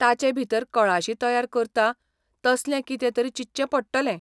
ताचेभितर कळाशी तयार करता तसलें कितेंतरी चिंतचें पडटलें.